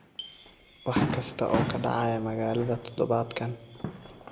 wax kasta oo ka dhacaya magaalada todobaadkan